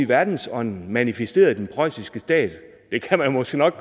verdensånden manifesteret i den preussiske stat der kan man måske nok